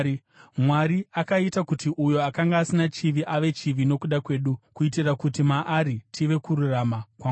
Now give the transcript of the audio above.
Mwari akaita kuti uyo akanga asina chivi ave chivi nokuda kwedu, kuitira kuti maari tive kururama kwaMwari.